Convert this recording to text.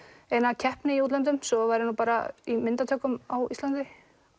eina keppni í útlöndum svo var ég bara í myndatökum á Íslandi